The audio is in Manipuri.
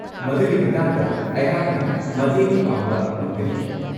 ꯃꯗꯨꯒꯤ ꯃꯇꯥꯡꯗ ꯑꯩꯍꯥꯛꯅ ꯃꯇꯦꯡ ꯄꯥꯡꯕ ꯉꯝꯒꯅꯤ꯫